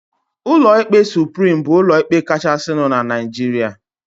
Ụlọ ikpe Suprim bụ ụlọ ikpe kachasinu n'Naijiria